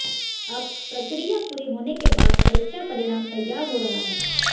अब प्रक्रिया पूरी होने के बाद परीक्षा परिणाम तैयार हो रहा है